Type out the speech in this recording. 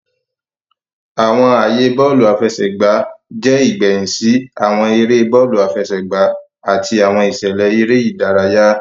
Awọn aaye bọọlu afẹsẹgba jẹ igbẹhin si awọn ere bọọlu afẹsẹgba ati awọn iṣẹlẹ ere idaraya.